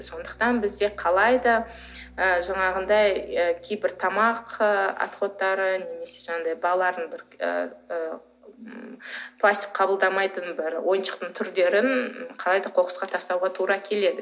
сондықтан бізде қалай да ы жаңағындай кейбір тамақ ы отходтары немесе жаңағындай балалардың ы пластик қабылдамайтын бір ойыншықтың түрлерін қалай да қоқысқа тастауға тура келеді